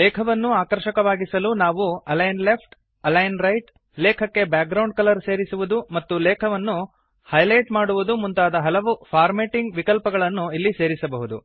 ಲೇಖವನ್ನು ಆಕರ್ಷಕವಾಗಿಸಲು ನಾವು align left align right ಲೇಖಕ್ಕೆ ಬ್ಯಾಕ್ಗ್ರೌಂಡ್ ಕಲರ್ ಸೇರಿಸುವುದು ಮತ್ತು ಲೇಖವನ್ನು ಹೈಲೈಟ್ ಮಾಡುವುದು ಮುಂತಾದ ಹಲವು ಫಾರ್ಮ್ಯಾಟಿಂಗ್ ವಿಕಲ್ಪಗಳನ್ನು ಇಲ್ಲಿ ಸೇರಿಸಬಹುದು